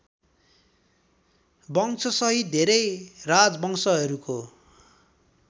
वंशसहित धेरै राजवंशहरूको